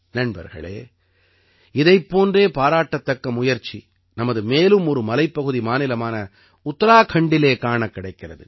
நண்பர்களே இதைப் போன்றே பாராட்டத்தக்க முயற்சி நமது மேலும் ஒரு மலைப்பகுதி மாநிலமான உத்தராக்கண்டிலே காணக் கிடைக்கிறது